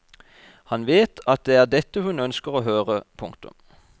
Han vet at det er dette hun ønsker å høre. punktum